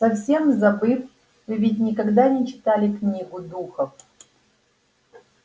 совсем забыл вы ведь никогда не читали книгу духов